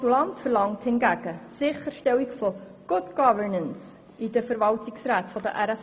Der Postulant verlangt die Sicherstellung von Good Governance in den Verwaltungsräten der RSZ.